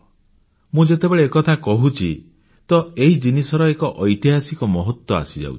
ମୁଁ ଯେତେବେଳେ ଏକଥା କହୁଛି ତ ଏହି ଜିନିଷର ଏକ ଐତିହାସିକ ମହତ୍ୱ ଆସିଯାଉଛି